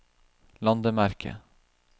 landemerke